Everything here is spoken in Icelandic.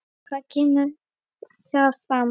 Hvað kemur þar fram?